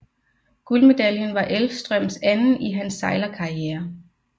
Guldmedaljen var Elvstrøms anden i hans sejlerkarriere